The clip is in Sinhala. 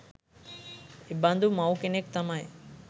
එබඳු මව් කෙනෙක් තමයි